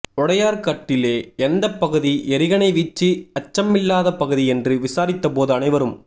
உடையார்கட்டிலே எந்தப் பகுதி எறிகணைவீச்சு அச்சமில்லாத பகுதி என்று விசாரித்தபோது அனைவரும்